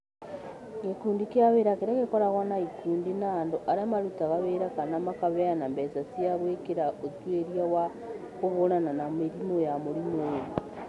Gĩkundi kĩa wĩra kĩrĩa gĩkoragwo na ikundi na andũ arĩa marutaga wĩra kana makaheana mbeca cia gwĩkĩra ũtuĩria wa kũhũrana na mĩrimũ ya mũrimũ ũyũ.